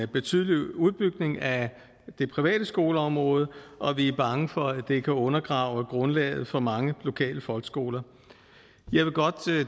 betydelig udbygning af det private skoleområde og vi er bange for at det kan undergrave grundlaget for mange lokale folkeskoler